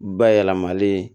Bayɛlɛmalen